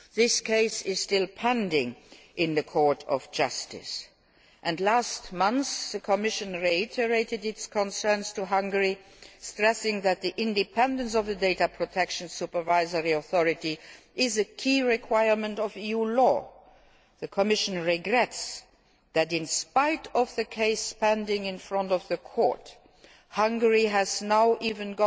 This case is still pending before the Court of Justice. Last month the Commission reiterated its concerns to Hungary, stressing that the independence of a data protection supervisory authority is a key requirement of EU law. The Commission regrets that, in spite of the case pending before the Court, Hungary has now